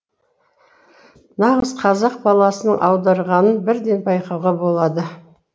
нағыз қазақ баласының аударғанын бірден байқауға болады